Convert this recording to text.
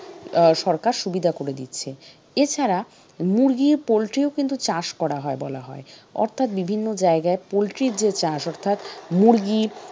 আহ সরকার সুবিধা করে দিচ্ছে এছাড়া মুরগি poultry ও কিন্তু চাষ করা হয় বলা হয় অর্থাৎ বিভিন্ন জায়গায় poultry র যে চাষ অর্থাৎ মুরগির